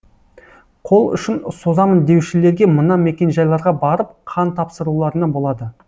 қол ұшын созамын деушілерге мына мекенжайларға барып қан тапсыруларына болады